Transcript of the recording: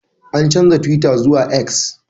An canja twitter zuwa X.